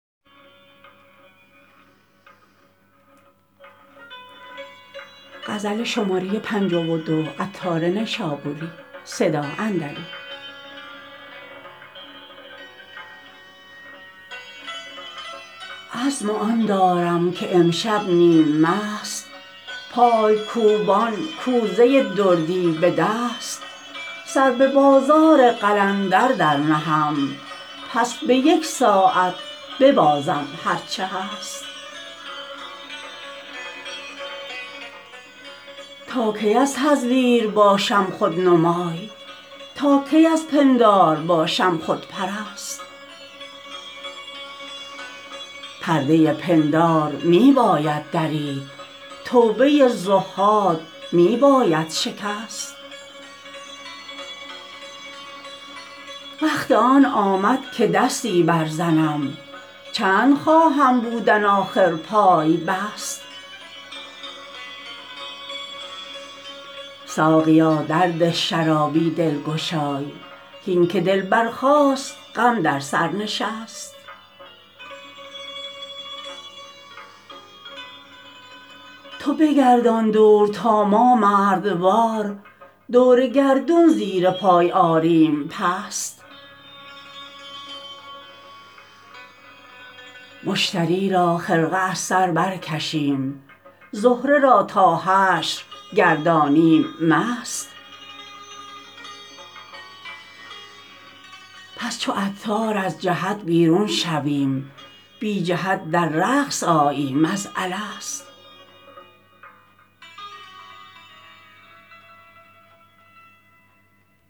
عزم آن دارم که امشب نیم مست پای کوبان کوزه دردی به دست سر به بازار قلندر برنهم پس به یک ساعت ببازم هرچه هست تا کی از تزویر باشم رهنمای تا کی از پندار باشم خودپرست پرده پندار می باید درید توبه تزویر می باید شکست وقت آن آمد که دستی برزنم چند خواهم بودن آخر پای بست ساقیا درده شرابی دلگشای هین که دل برخاست غم بر سر نشست تو بگردان دور تا ما مردوار دور گردون زیر پای آریم پست مشتری را خرقه از بر برکشیم زهره را تا حشر گردانیم مست همچو عطار از جهت بیرون شویم بی جهت در رقص آییم از الست